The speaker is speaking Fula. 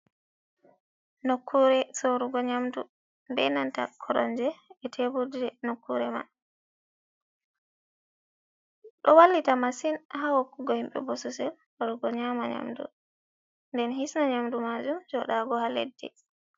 Nokkure sorugo nyamdu benata koronje be teburje nokure man, ɗo wallita masin hawakugo himɓɓe bosesel joɗugo nyama nyamdu den hisna nyamdu majum joɗago ha leddi.